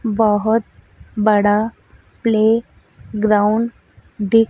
बहोत बड़ा playground दीख--